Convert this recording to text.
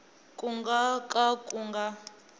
ku nga ka ku nga